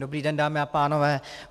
Dobrý den, dámy a pánové.